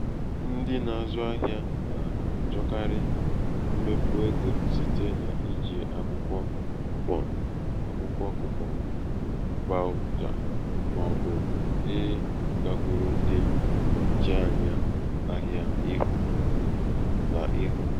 ndị na-azụ ahịa na-àchọkarị mbepụ̀ egō site n’iiji akwụkwọ kupọ̀n akwụkwọ kupọ̀n vaawụchà màọ̀bụ̀ ịgākwuru ndị ǹnọ̀chianya ahịa ihu nà ihu.